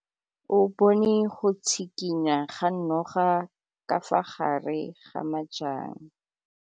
O bone go tshikinya ga noga ka fa gare ga majang.